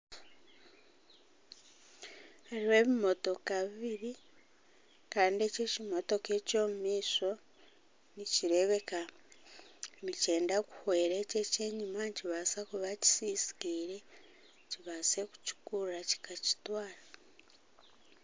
Hariho ebimotoka bibiri kandi eki ekimotoka eky'omumaisho nikireebeka nikyenda kuhwera eki eky'enyima nikibaasa kuba kisisikaire, kibaase kukikurura kikakitwara.